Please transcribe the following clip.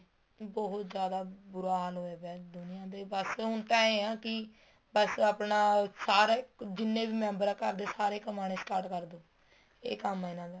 ਬਹੁਤ ਜਿਆਦਾ ਬੂਰਾ ਹਾਲ ਹੋਇਆ ਪਇਆ ਹੈ ਦੁਨੀਆਂ ਦੇ ਬੱਸ ਹੁਣ ਐ ਹਾਂ ਕੀ ਬੱਸ ਆਪਣਾ ਸਾਰਾ ਜਿੰਨੇ ਵੀ member ਆ ਘਰ ਦੇ ਸਾਰੇ ਕਮਾਣੇ start ਕਰ ਦੇਣ ਇਹ ਕੰਮ ਆ ਇਹਨਾ ਦਾ